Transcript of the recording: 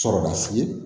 Sɔrɔ ka sigi